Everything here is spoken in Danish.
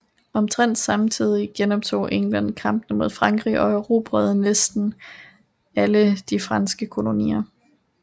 Omtrent samtidig genoptog England kampene mod Frankrig og erobrede næste alle de franske kolonier